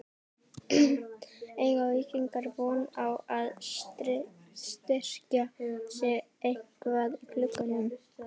Eiga Víkingar von á að styrkja sig eitthvað í glugganum?